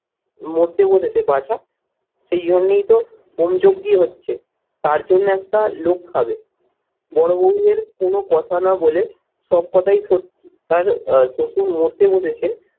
মরতে বসেছে বাছা। সেই জন্যই তো হোম জজ্ঞি হচ্ছে। তার জন্য একটা লোক খাবে বড়বাবু এর কোন কথা না বলে সব কথাই সত্যি তার আহ শ্বশুর মরতে বসেছে